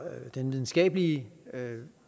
den videnskabelige